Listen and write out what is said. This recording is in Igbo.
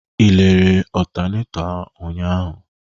Ị lerere ọtaneto ụnyaahụ?